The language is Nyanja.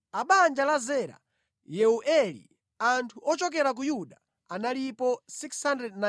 A banja la Zera: Yeueli. Anthu ochokera ku Yuda analipo 690.